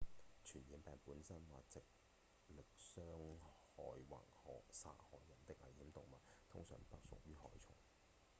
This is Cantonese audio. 傳染病本身或藉力傷害或殺害人的危險動物通常不屬於害蟲